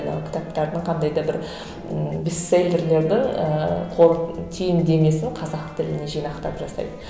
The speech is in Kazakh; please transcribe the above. мынау кітаптардың қандай да бір ммм бестселерлерді ііі түйіндемесін қазақ тіліне жинақтап жасайды